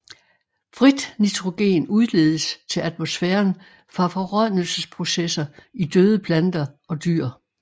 Frit nitrogen udledes til atmosfæren fra forrådnelsesprocesser i døde planter og dyr